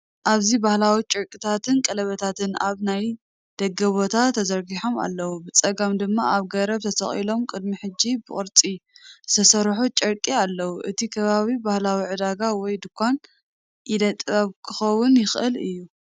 ኣብዚ ባህላዊ ጨርቅታትን ቀለቤታትን ኣብ ናይ ደገ ቦታ ተዘርጊሖም ኣለዉ። ብጸጋም ድማ ኣብ ገረብ ተሰቒሎም ቅድሚ ሕጂ ብቅርጺ ዝተሰርሑ ጨርቂ ኣለዉ። እቲ ከባቢ ባህላዊ ዕዳጋ ወይ ድኳን ኢደ ጥበብ ክኸውን ይኽእል እዩ።